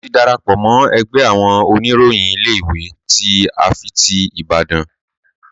Mo ti darapọ̀ mọ́ ẹgbẹ́ àwọn oníròyìn ilé ìwé tí ifáfitì Ibadan.